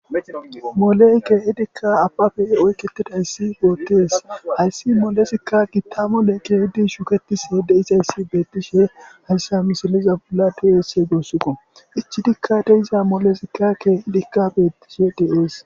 Molle kei'di abappe oyketidaysi betes haysi molezika gita mole shuketishe dizaysi beteshe haysa misile gusako ichidika diza molezika gita gidizaysi betes